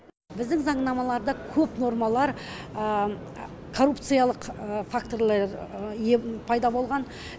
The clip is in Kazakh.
біздің заңнамаларда көп нормалар коррупциялық факторлар пайда болған